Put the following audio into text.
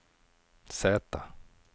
Z